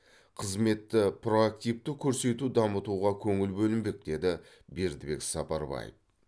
қызметті проактивті көрсету дамытуға көңіл бөлінбек деді бердібек сапарбаев